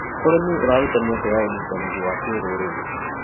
ũrĩmi ũraruta mĩeke ya ũnyitanĩri wa kĩrũrĩrĩ.